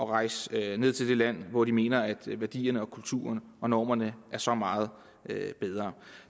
rejse ned til det land hvor de mener at værdierne kulturen og normerne er så meget bedre